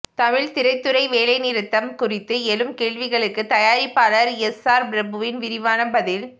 தமிழ் திரைத்துறை வேலைநிறுத்தம் குறித்து எழும் கேள்விகளுக்கு தயாரிப்பாளர் எஸ்ஆர் பிரபுவின் விரிவான பதில்